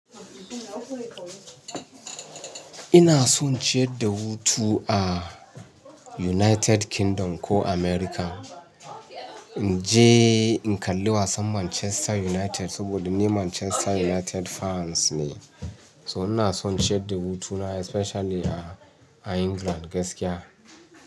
Ina son ciyar da hutu a United Kingdom ko America. In je in kalli wasan Manchester United saboda ni Manchester United fans ne. So inason ciyarda hutuna especially a England gaskiya.